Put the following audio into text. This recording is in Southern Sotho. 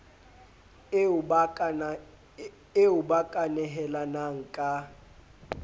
eo ba ka nehelanang ka